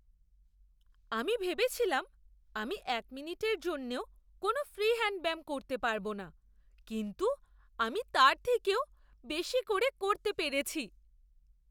আমি ভেবেছিলাম আমি এক মিনিটের জন্যও কোনও ফ্রি হ্যাণ্ড ব্যায়াম করতে পারব না, কিন্তু আমি তার থেকেও বেশি করে করতে পেরেছি।